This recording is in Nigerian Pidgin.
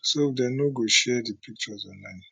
so dem no go share di pictures online